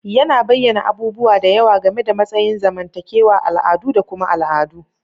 Yana bayyana abubuwa da yawa game da matsayin zamantakewa, al'adu, da kuma al'adu.